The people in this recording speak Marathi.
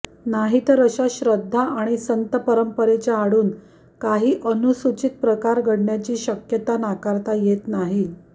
नाहीतर अशा श्रद्धा आणि संतपरंपरेच्या आडून काही अनुचित प्रकार घडण्याची शक्यता नाकारता येत नाही